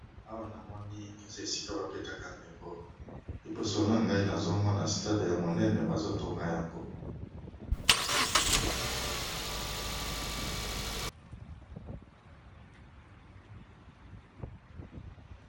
Awanamoni eza esika ba betaka ndembo liboso nazomona stade monene bazo Tonga yango.